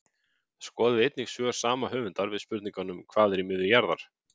Skoðið einnig svör sama höfundar við spurningunum Hvað er í miðju jarðar?